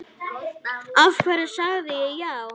Af hverju sagði ég já?